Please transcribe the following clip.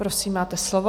Prosím, máte slovo.